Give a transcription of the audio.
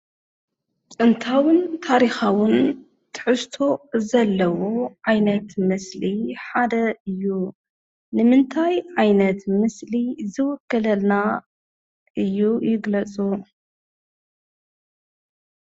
ጥንታውን ታሪኻውን ትሕዝቶ ዘለዎ ዓይነት ምስሊ ሓደ እዩ። ንምንታይ ዓይነት ምስሊ ዝውክለልና እዩ ይግለፁ?